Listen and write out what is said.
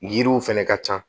Yiriw fɛnɛ ka ca